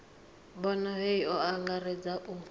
bono hei o angaredza u